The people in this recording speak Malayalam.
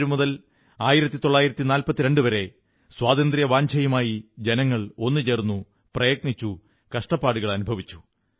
1857 മുതൽ 1942 വരെ സ്വാതന്ത്ര്യവാഞ്ഛയുമായി ജനങ്ങൾ ഒത്തുചേർന്നു പ്രയത്നിച്ചു കഷ്ടപ്പാടുകൾ അനുഭവിച്ചു